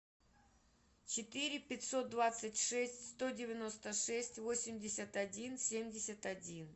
четыре пятьсот двадцать шесть сто девяносто шесть восемьдесят один семьдесят один